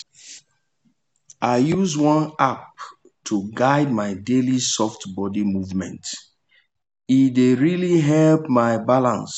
i use one app to guide my daily soft body movement e dey really help my balance.